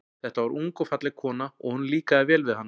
Þetta var ung og falleg kona, og honum líkaði vel við hana.